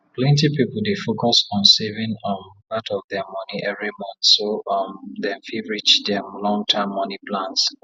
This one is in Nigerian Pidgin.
plenty people dey focus on saving um part of their money every month so um dem fit reach their long term money plans